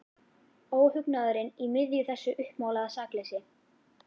Óhugnaðurinn í miðju þessu uppmálaða sakleysi.